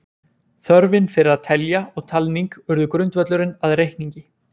Þörfin fyrir að telja og talning urðu grundvöllurinn að reikningi.